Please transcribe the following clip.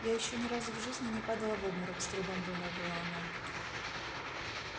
я ещё ни разу в жизни не падала в обморок с трудом вымолвила она